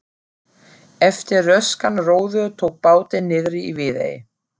Eftir röskan róður tók bátinn niðri í Viðey.